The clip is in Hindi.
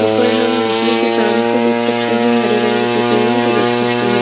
ऊपर में बिजली के तारों को देख सकते है हरे रंग के पेड़ो को देख सकते है।